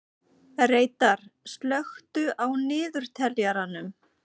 Reidar, slökktu á niðurteljaranum.